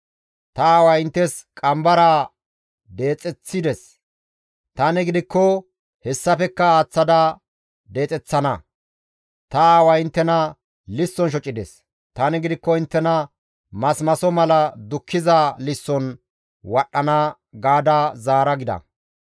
Ta aaway inttes qambaraa deexeththides; tani gidikko hessafekka aaththada deexeththana. Ta aaway inttena lisson shocides; tani gidikko inttena masimaso mala dukkiza lisson wadhdhana› gaada zaara» gida.